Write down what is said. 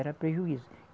Era prejuízo.